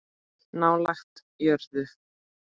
Nálægt jörðu